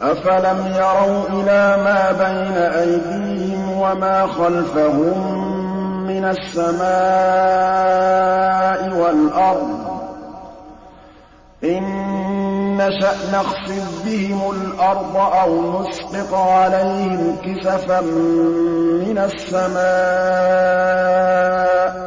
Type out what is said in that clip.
أَفَلَمْ يَرَوْا إِلَىٰ مَا بَيْنَ أَيْدِيهِمْ وَمَا خَلْفَهُم مِّنَ السَّمَاءِ وَالْأَرْضِ ۚ إِن نَّشَأْ نَخْسِفْ بِهِمُ الْأَرْضَ أَوْ نُسْقِطْ عَلَيْهِمْ كِسَفًا مِّنَ السَّمَاءِ ۚ